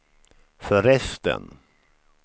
förresten